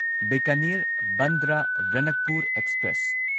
Bikaner Bandra Ranakpur express